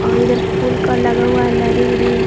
और इधर फूल का लगा हुआ है लड़ी-उरी --